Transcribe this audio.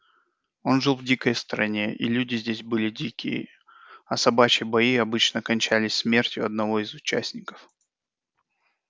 он жил в дикой стране и люди здесь были дикие а собачьи бои обычно кончались смертью одного из участников